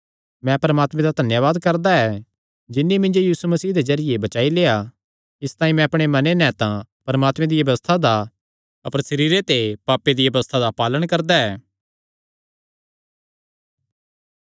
मैं परमात्मे दा धन्यावाद करदा ऐ जिन्नी मिन्जो यीशु मसीह दे जरिये बचाई लेआ इसतांई मैं अपणे मने नैं तां परमात्मे दिया व्यबस्था दा अपर सरीरे ते पापे दिया व्यबस्था दा पालण करदा ऐ